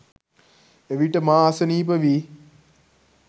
එවිට මා අසනීප වී